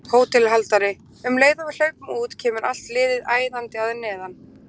HÓTELHALDARI: Um leið og við hlaupum út kemur allt liðið æðandi að neðan.